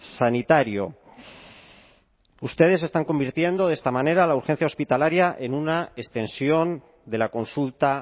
sanitario ustedes están convirtiendo de esta manera la urgencia hospitalaria en una extensión de la consulta